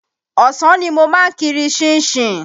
Ọ̀sán ni mo ma kiri ṣínṣin.